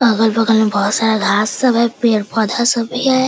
अगल-बगल में बहुत सारा घास सब है पड़े-पौधा सब भी है।